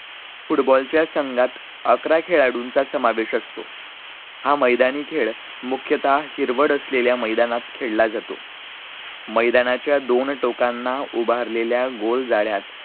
football च्या संघात अकरा खेळाळूचा समावेश असतो, हा मैदानी खेळ मुख्यतः हिरवड असलेल्या मैदानात खेळला जातो मैदानाच्या दोन टोकांना उभारलेल्या गोल जाळ्या